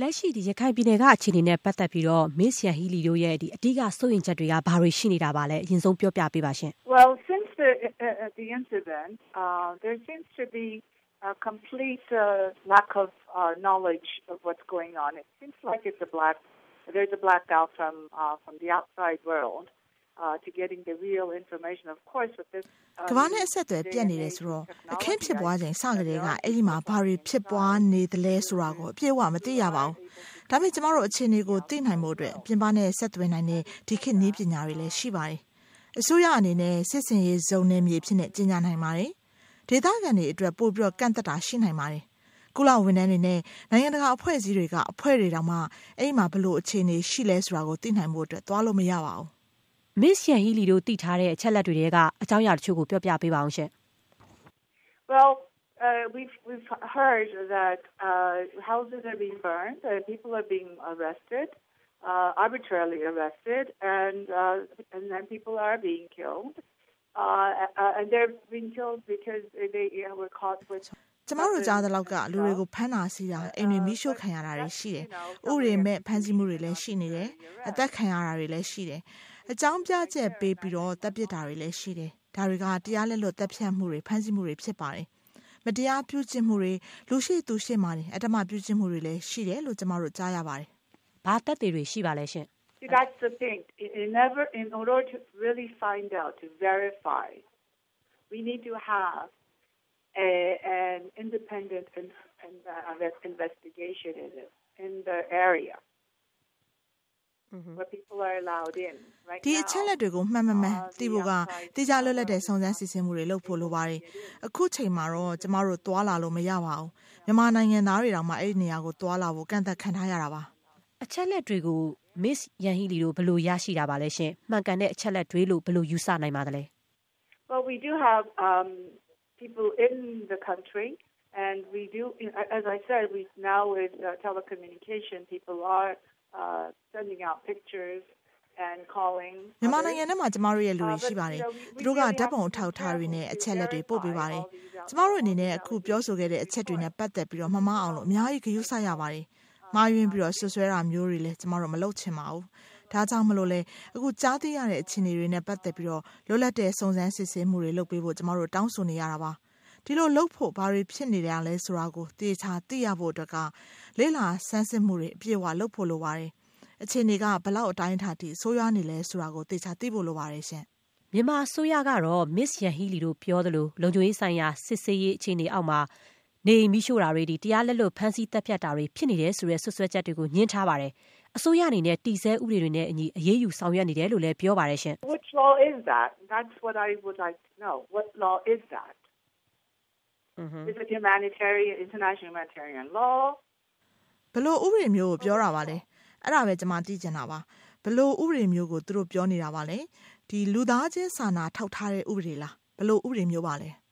လက်ရှိ ရခိုင်ပြည်နယ်က အခြေအနေနဲ့ပတ်သက်ပြီးတော့ မစ္စ ယန်ဟီးလီ ရဲ့ အဓိက စိုးရိမ်ချက်က ဘာတွေ ရှိနေတာပါလဲ။ အရင်ဆုံး ပြောပြပေးပါရှင့်။ “ကမ္ဘာနဲ့ အဆက်အသွယ် ပြတ်နေတာဆိုတော့ အခင်းဖြစ်ပွားချိန်စကတည်းက အဲဒီမှာဘာတွေ ဖြစ်ပွားနေသလဲ ဆိုတာကို အပြည့်အဝ မသိရပါဘူး။ ဒါပေမဲ့ ကျမတို့ အခြေအနေကိုသိနိုင်ဖို့အတွက် ပြင်ပနဲ့ ဆက်သွယ်နိုင်တဲ့ ဒီခေတ်နည်းပညာတွေလည်း ရှိပါတယ်။ အစိုးရအနေနဲ့ စစ်ဆင်ရေး ဇုံနယ်မြေအဖြစ် ကြေညာနိုင်ပါတယ်။ ဒေသခံတွေအတွက်တော့ ပိုပြီးကန့်သတ်တာ ရှိနိုင်ပါတယ်။ ကုလဝန်ထမ်းတွေနဲ့ နိုင်ငံတကာအဖွဲ့အစည်းတွေက အဖွဲ့တွေတောင်မှ အဲဒီမှာ ဘယ်လိုအခြေအနေရှိသလဲ ဆိုတာကို သိနိုင်ဖို့အတွက် သွားလို့မရပါဘူး။” မစ္စယန်ဟီးလီတို့ သိထားတဲ့ အချက်အလက်တွေထဲက အကြောင်းအရာ တချို့ကို ပြောပြပါဦးရှင့်။ “ကျမတို့ကြားသလောက်က လူတွေကို ဖမ်းတာဆီးတာ၊ အိမ်တွေ မီးရှို့ခံရတာရှိတယ်။ ဥပဒေမဲ့ ဖမ်းဆီးမှုတွေ ရှိနေတယ်။ အသတ်ခံရတာတွေ ရှိတယ်။ အကြောင်းပြချက်ပေးပြီး သတ်ပစ်တာတွေ ရှိတယ်။ ဒါတွေက တရားလက်လွတ် သတ်ဖြတ်မှုတွေ ဖမ်းဆီးမှုတွေ ဖြစ်ပါတယ်။ မတရားပြုကျင့်မှုတွေ၊ လူရှေ့သူရှေ့မှာတင် အဓမ္မပြုကျင့်မှုတွေ ရှိတယ်လို့လည်း ကျမတို့ကြားရပါတယ်။ ” ဘာ သက်သေတွေ ရှိပါလဲရှင့်။ “ဒီအချက်အလက်တွေကို မှန်မမှန် သိဖို့က သီးခြားလွတ်လပ်တဲ့ စုံစမ်းစစ်ဆေး မှုတွေ လုပ်ဖို့ လိုပါတယ်။ အခုချိန်မှာတော့ ကျမတို့ သွားလာလို့ မရပါဘူး။ မြန်မာနိုင်ငံသားတွေတောင် အဲဒီနေရာတွေကို သွားလာဖို့ကန့်သတ်ခံထားရပါတယ်။” အချက်အလက်တွေကို မစ္စ ယန်ဟီးလီတို့ ဘယ်လို ရရှိပါသလဲ။ မှန်ကန်တဲ့ အချက်အလက်တွေလို့ ဘယ်လို ယူဆနိုင်ပါသလဲ။ “မြန်မာနိုင်ငံထဲမှာ ကျမတို့ရဲ့လူတွေ ရှိပါတယ်။ သူတို့က ဓာတ်ပုံ အထောက်အထားတွေနဲ့ အချက်အလက်တွေ ပို့ပေးပါတယ်။ ကျမတို့အနေနဲ့ အခု ပြောဆိုခဲ့တဲ့အချက်တွေနဲ့ပတ်သက်ပြီး မမှားအောင် အများကြီး ဂရုစိုက်ရပါတယ်။ မှားယွင်းပြီး စွပ်စွဲတာမျိုးလည်း ကျမတို့ မလုပ်ချင်ပါဘူး။ ဒါကြောင့်လည်း အခုကြားသိရတဲ့ အခြေအနေတွေနဲ့ပတ်သက်ပြီး လွတ်လပ်တဲ့ စုံစမ်းစစ်ဆေးမှုတွေ လုပ်ပေးဖို့ ကျမတို့ တောင်းဆိုနေတာပါ။ ဒီလိုလုပ်ဖို့ ဘာတွေ ဖြစ်နေတယ်ဆိုတာကို သေသေချာချာ သိရဖို့ လေ့လာစမ်းစစ်မှုတွေ အပြည့်အ၀ လုပ်ဖို့ပါတယ်။ အခြေအနေက ဘယ်လောက် အတိုင်းအတာအထိ ဆိုးရွားနေသလဲ ဆိုတာကို သေချာသိဖို့လိုပါတယ်။” မြန်မာအစိုးရကတော့ မစ္စ ယန်ဟီးလီတို့ ပြောသလို လုံခြုံရေးဆိုင်ရာ စစ်ဆင်ရေး အခြေအနေအောက်မှာ နေအိမ်တွေမီးရှို့တာ၊ တရားလက်လွတ် ဖမ်းဆီးသတ်ဖြတ်တာတွေ ဖြစ်နေတယ်ဆိုတဲ့ စွပ်စွဲချက်တွေကို ငြင်းထားပါတယ်။ အစိုးရအနေနဲ့ တည်ဆဲဥပဒေတွေနဲ့ အညီအရေးယူဆောင်ရွက်နေတယ်လို့ပြော ပါတယ်ရှင့်။ “ဘယ်လိုဥပဒေမျိုးကို ပြောတာလဲ။ အဲဒါပဲ ကျမ သိချင်တာပါ။ ဘယ်လို ဥပဒေမျိုးကို သူတို့ပြောနေတာပါလဲ။ လူသားချင်းစာနာ ထောက်ထားတဲ့ ဥပဒေလား။ ဘယ်လိုဥပဒေမျိုးလဲ။”